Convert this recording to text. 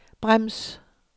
brems